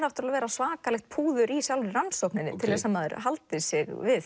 að vera svakalegt púður í sjálfri rannsókninni til að maður haldi sig við